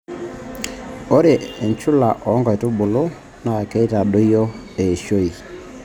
Ore enchula oo nkaitubulu naa keitadoyio eishoi.